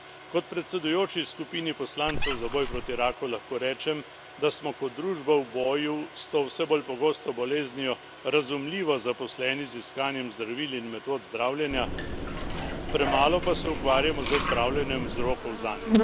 Kot predsedujoči skupini poslancev za boj proti raku lahko rečem, da smo kot družba v boju s to vse bolj pogosto boleznijo razumljivo zaposleni z iskanjem zdravil in metod zdravljenja, premalo pa se ukvarjamo z odpravljanjem vzrokov zanjo.